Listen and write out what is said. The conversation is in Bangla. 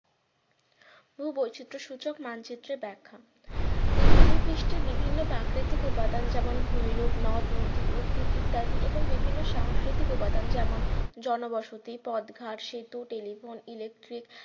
ভূ বৈচিত্র সূচক মানচিত্রে ব্যাখ্যা পৃথিবীপৃষ্ঠে বিভিন্ন প্রাকৃতিক উপাদান যেমন ভূমিরূপ নদ-নদী উদ্ভিদ ইত্যাদি এবং বিভিন্ন সাংস্কৃতিক উপাদান যেমন জনবসতি পদঘাট সেতু telephone electric